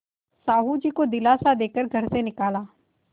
साहु जी को दिलासा दे कर घर से निकाला